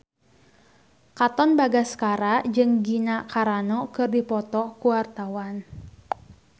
Katon Bagaskara jeung Gina Carano keur dipoto ku wartawan